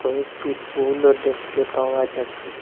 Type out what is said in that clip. কয়েকটি পুলও দেখতে পাওয়া যাচ্ছে।